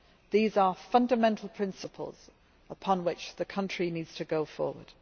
These are fundamental principles upon which the country needs to go forward.